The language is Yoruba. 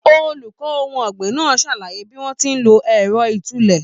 Olùkọ ohun ọgbin náà sàlàyé bí wọn ti n ló ẹrọ ìtúlẹ̀.